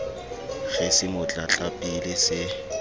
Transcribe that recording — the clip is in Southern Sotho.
re se mo tlatlapile se